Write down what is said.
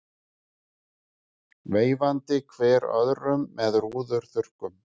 Veifandi hver öðrum með rúðuþurrkum.